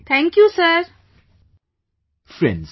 Vijayashanti ji Thank you sir